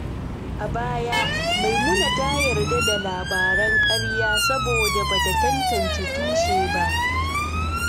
A baya, Maimuna ta yarda da labaran ƙarya saboda ba ta tantance tushe ba.